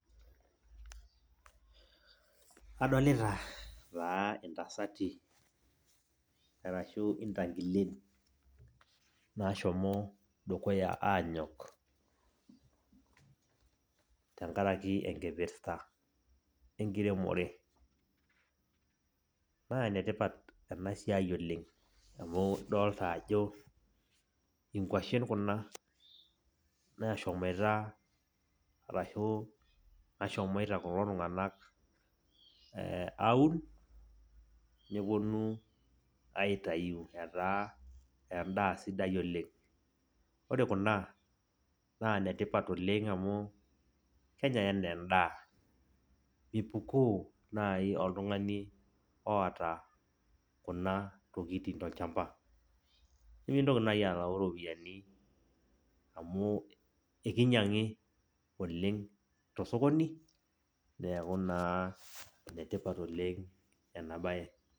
Adolita taa intasati, arashu intangilen naashomo dukuya aanyok, tenkaraki enkipirta enkiremore. Naa enetipat ena siai oleng' amu idolta ajo inkuashen kuna naashomoita arashu nashomoita kulo tunganak eh aaun, neponu aitayu etaa endaah sidai oleng'. Wore kuna, naa inetipat oleng' amu kenyae enaa endaa. Mipukoo naai oltungani oata kuna tokitin tolshamba. Nimintoki naai alayu iropiyani amu enkinyianga oleng' tosokoni, neeku naa enetipat oleng' enabaye.